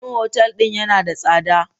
Domin otal din yana da tsada.